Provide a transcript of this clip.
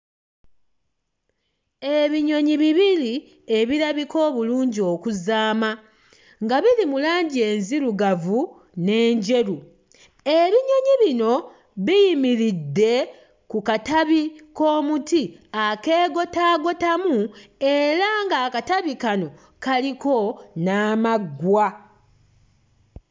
Ebinyonyi bibiri ebirabika obulungi okuzaama nga biri mu langi enzirugavu n'enjeru ebinyonyi bino biyimiridde ku katabi k'omuti akeegotaagotamu era ng'akatabi kano kaliko n'amaggwa.